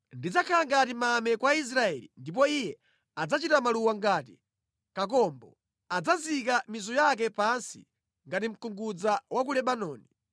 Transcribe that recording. Ndidzakhala ngati mame kwa Israeli Ndipo iye adzachita maluwa ngati kakombo. Adzazika mizu yake pansi ngati mkungudza wa ku Lebanoni;